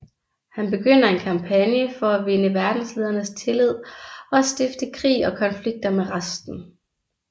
Han begynder en kampagne for at vinde verdenslederes tillid og stifte krig og konflikter med resten